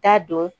T'a dɔn